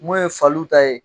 Mun ye faliw ta ye.